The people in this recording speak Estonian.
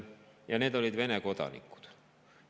Need olid Vene kodanikud.